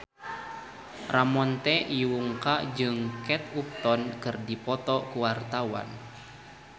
Ramon T. Yungka jeung Kate Upton keur dipoto ku wartawan